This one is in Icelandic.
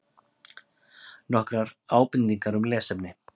Nokkrar ábendingar um lesefni: